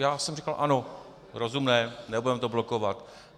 Já jsem říkal ano, rozumné, nebudeme to blokovat.